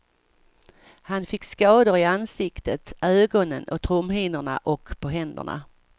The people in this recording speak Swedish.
Han fick skador i ansiktet, ögonen och trumhinnorna och på händerna.